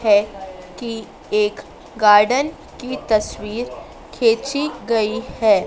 है कि एक गार्डन की तस्वीर खींची गई है।